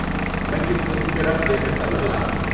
میں کس قسم کے رقص دیکھ سکتا ہوں، جناب؟